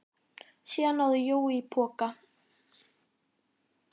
Síðan náði Jói í poka.